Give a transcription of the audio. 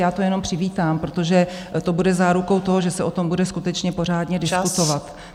Já to jenom přivítám, protože to bude zárukou toho, že se o tom bude skutečně pořádně diskutovat.